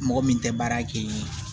Mɔgɔ min tɛ baara kɛ